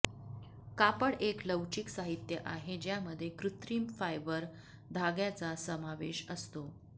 कापड एक लवचिक साहित्य आहे ज्यामध्ये कृत्रिम फायबर धाग्याचा समावेश असतो